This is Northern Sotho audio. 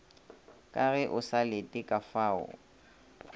ka ge o sa letekafao